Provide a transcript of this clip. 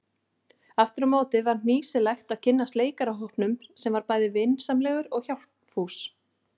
Afturámóti var hnýsilegt að kynnast leikarahópnum sem var bæði vinsamlegur og hjálpfús.